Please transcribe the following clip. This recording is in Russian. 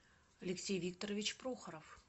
алексей викторович прохоров